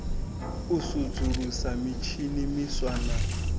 u sudzulusa mitshini miswa na